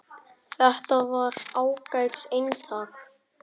Þetta var ágætis eintak